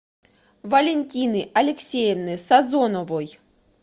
валентины алексеевны сазоновой